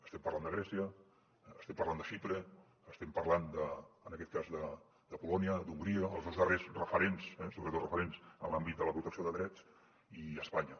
estem parlant de grècia estem parlant de xipre estem parlant en aquest cas de polònia d’hongria els dos darrers referents sobretot referents en l’àmbit de la protecció de drets i d’espanya